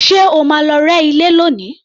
Ṣé o máa lọ rẹ́ ilé lónìí?